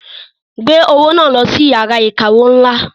Gbé owó náà lọ sí iyàrá ìkawó ńlá.